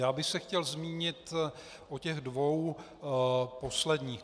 Já bych se chtěl zmínit o těch dvou posledních.